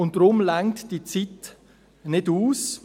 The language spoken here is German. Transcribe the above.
Deshalb reicht die Zeit nicht aus;